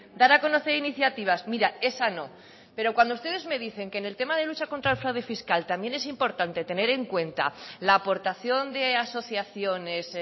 dar a conocer iniciativas mira esa no pero cuando ustedes me dicen que en el tema de lucha contra el fraude fiscal también es importante tener en cuenta la aportación de asociaciones